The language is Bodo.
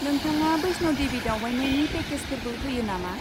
नोंथाङा बैष्ण' देबि दावबायनायनि पेकेजफोरबो होयो नामा?